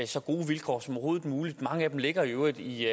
så gode vilkår som overhovedet muligt mange af dem ligger i øvrigt i